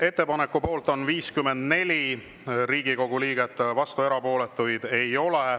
Ettepaneku poolt on 54 Riigikogu liiget, vastuolijaid ega erapooletuid ei ole.